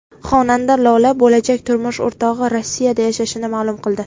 Xonanda Lola bo‘lajak turmush o‘rtog‘i Rossiyada yashashini ma’lum qildi.